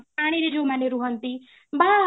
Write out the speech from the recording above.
ପାଣିରେ ଯୋଉ ମାନେ ରୁହନ୍ତି ବା